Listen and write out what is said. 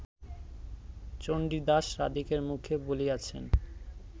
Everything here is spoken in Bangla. চণ্ডীদাস রাধিকার মুখে বলিয়াছেন